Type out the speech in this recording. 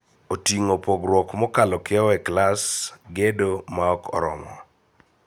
Oting'o pong'ruok mokalo kiewo e klas, gedo ma ok oromo,